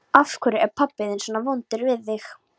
Af hverju er pabbi þinn svona vondur við þig?